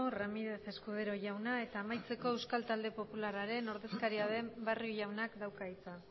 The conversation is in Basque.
eskerrik asko ramírez escudero jauna eta amaitzeko euskal talde popularraren ordezkaria den barrio jaunak dauka hitza